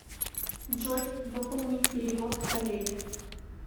джой выполни перевод коллеге